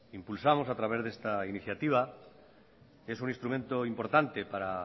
impulsamos a través de esta iniciativa es un instrumento importante para